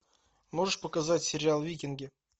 можешь показать сериал викинги